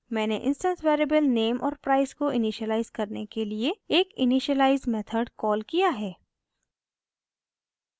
मैंने instance variables name और price को इनिशिअलाइज़ करने के लिए एक इनिशिअलाइज़ मेथड कॉल किया है